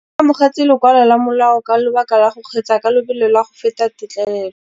O amogetse lokwalô lwa molao ka lobaka lwa go kgweetsa ka lobelo la go feta têtlêlêlô.